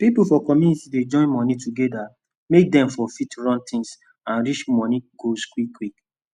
pipu for community dey join moni togeda make dem for fit run tins and reach moni goals quick quick